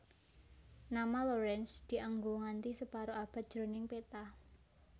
Nama Lorentz dianggo nganthi separo abad jroning peta